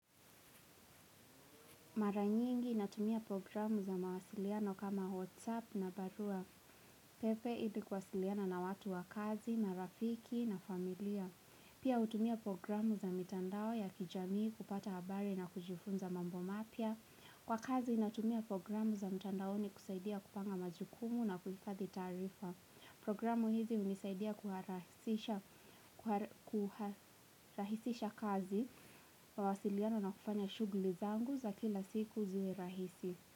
Mara nyingi natumia programu za mawasiliano kama WhatsApp na barua. Pepe ilikuwasiliana na watu wa kazi, marafiki na familia. Pia hutumia programu za mitandao ya kijamii kupata habari na kujifunza mambo mapya. Kwa kazi inatumia programu za mitandaoni kusaidia kupanga majukumu na kuhifadhi taarifa. Programu hizi hunisaidia kuharahisisha kazi. Mawasiliano na kufanya shughuli zangu za kila siku ziwe rahisi.